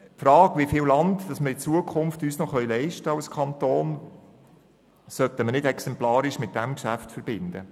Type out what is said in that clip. Die Frage, wie viel Land wir uns als Kanton in Zukunft noch leisten können, sollten wir nicht exemplarisch mit diesem Geschäft verbinden.